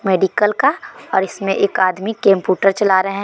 medical का और इसमें एक आदमी कंप्यूटर चला रहे--